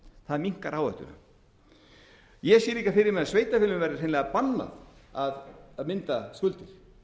það minnkar áhættuna ég sé líka fyrir mér að sveitarfélögum verði hreinlega bannað að mynda skuldir